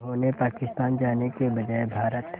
जिन्होंने पाकिस्तान जाने के बजाय भारत